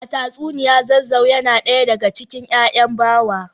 A tatsuniya Zazzau yana daya daga cikin ‘ya’yan Bawa